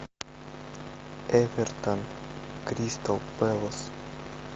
эвертон кристал пэлас